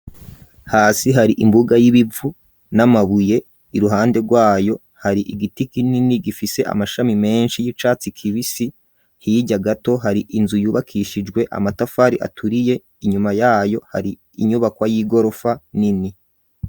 Hasi hari imbuga y'ibivu n'amabuye iruhande rwayo hari igiti kinini gifise amashami menshi y'icatsi kibisi, hirya gato hari inzu yubakishijwe amatafari aturiye, inyuma yayo hari inyubakwa y'igorofa nini.